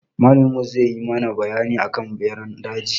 Malamin mu zai yi mana bayani akan ɓeran daji.